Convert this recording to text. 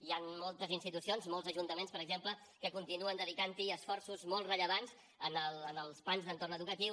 hi han moltes institucions molts ajuntaments per exemple que continuen dedicant hi esforços molt rellevants als plans d’entorn educatiu